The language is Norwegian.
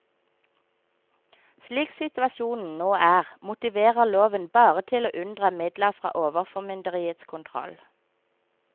Slik situasjonen nå er, motiverer loven bare til å unndra midler fra overformynderiets kontroll.